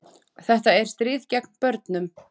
Þetta er stríð gegn börnum